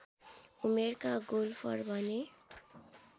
उमेरका गोल्फर बने